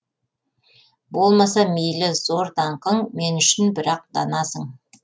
болмаса мейлі зор даңқың мен үшін бірақ данасың